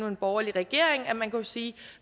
en borgerlig regering at man kunne sige